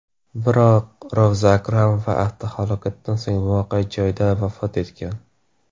Biroq Rovza Akramova avtohalokatdan so‘ng voqea joyida vafot etgan.